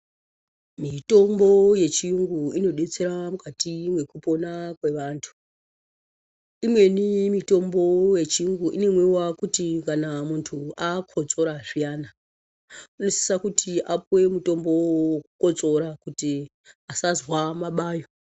Mitombo yechiyungu inodetsera mukati mekupona kwevantu. Imweni mitombo yechirungu inomwiwa kuti kana muntu akotsora zviyani unosise kuti apuwe mutombo wekukotsora kuti asazwa mabayo.